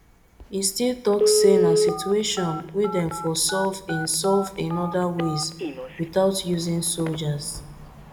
he still tok say na situation wey dem for solve in solve in oda ways wit out using soldiers